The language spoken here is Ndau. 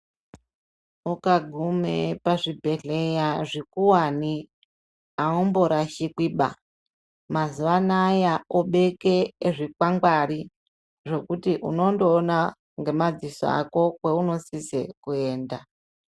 Ukagume pazvibhedhleya zvikuwani aumborashikwiba mazuwa anaya kobheke zvikwakwangwari zvekuti unongoona ngemadziso ako kweunosise kuenda.